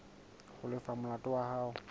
ho lefa molato wa hao